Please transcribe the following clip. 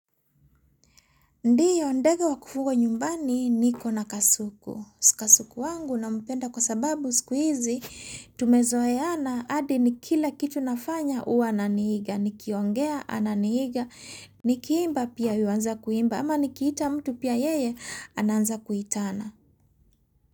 Ndiyo, ndege wa kufuga nyumbani niko na kasuku. Kasuku wangu nampenda kwa sababu siku hizi, tumezoeana hadi ni kila kitu nafanya huwa ananihiga, nikiongea ananihiga, nikimba pia yuanza kuimba, ama nikiita mtu pia yeye anaanza kuitana.